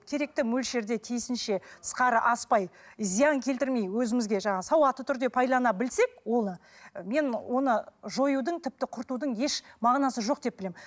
керекті мөлшерде тиісінше тысқары аспай зиян келтірмей өзімізге жаңа сауатты түрде пайдалана білсек оны мен оны жоюдың тіпті құртудың еш мағынасы жоқ деп білемін